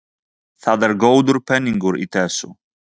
Það er góður peningur í þessu.